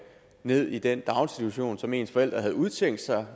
ned i den daginstitution som ens forældre havde udset sig